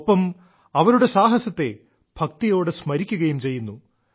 ഒപ്പം അവരുടെ സാഹസത്തെ ഭക്തിയോടെ സ്മരിക്കുകയും ചെയ്യുന്നു